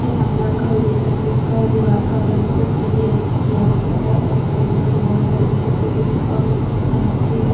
के सामने आप घर देख रहै है जिसका दीवार का रंग अ क्रीमी रंग से किया गया है और अगल- बगल बहुत सारे घने पेड़ है और लेकिन ऐन नीचे --